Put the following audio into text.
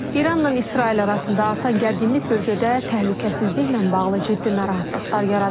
İranla İsrail arasında artan gərginlik bölgədə təhlükəsizliklə bağlı ciddi narahatlıqlar yaradıb.